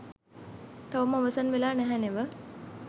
තවම අවසන් වෙලා නැහැ නෙව